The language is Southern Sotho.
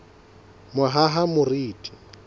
mohahamoriti